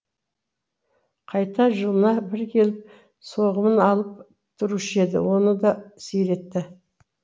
қайта жылына бір келіп соғымын алып тұрушы еді оны да сиретті